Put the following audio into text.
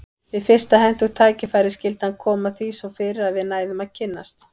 Við fyrsta hentugt tækifæri skyldi hann koma því svo fyrir að við næðum að kynnast.